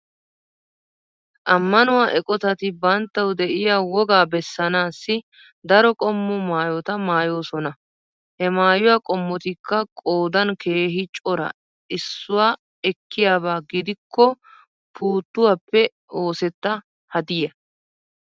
Ammanuwa eqqottati banttawu de'iyaa wogga bessannassi daro qommo maayota mayosoona. He mayuwa qommotika qoddan keehi cora issuwa ekkiyabba giddoko puttuwappe osseta haddiya.